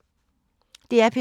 DR P2